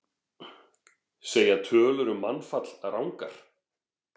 Segja tölur um mannfall rangar